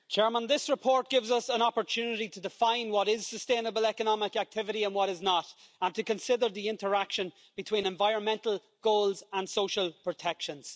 Mr President, this report gives us an opportunity to define what is sustainable economic activity and what is not, and to consider the interaction between environmental goals and social protections.